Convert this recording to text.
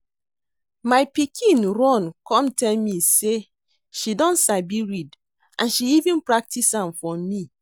My pikin run come tell me say she don sabi read and she even practice am for me